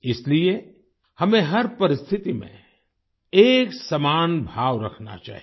इसलिए हमें हर परिस्थिति में एक समान भाव रखना चाहिए